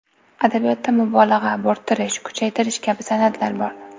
Adabiyotda mubolag‘a, bo‘rttirish, kuchaytirish kabi san’atlar bor.